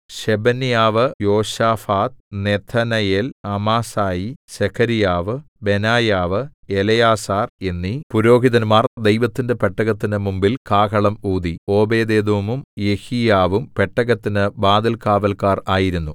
Shebaniah Jehoshaphat Nethanel Amasai Zechariah Benaiah Eliezer എന്നീ പുരോഹിതന്മാർ ദൈവത്തിന്റെ പെട്ടകത്തിന് മുമ്പിൽ കാഹളം ഊതി ഓബേദ്ഏദോമും യെഹീയാവും പെട്ടകത്തിന് വാതിൽകാവല്ക്കാർ ആയിരുന്നു